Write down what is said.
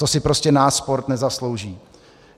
To si prostě náš sport nezaslouží.